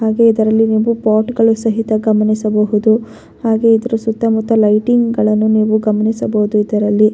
ಹಾಗೆ ಇದರಲ್ಲಿ ಪೋಟ್ಗಳು ಸಹಿತ ಗಮನಿಸಬಹುದು ಹಾಗೆ ಇದರ ಸುತ್ತಮುತ್ತ ಲೈಟಿಂಗ್ಗಳನ್ನು ನೀವು ಗಮನಿಸಬಹುದು ಇದರಲ್ಲಿ.